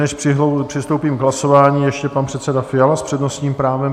Než přistoupím k hlasování, ještě pan předseda Fiala s přednostním právem.